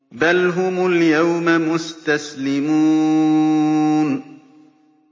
بَلْ هُمُ الْيَوْمَ مُسْتَسْلِمُونَ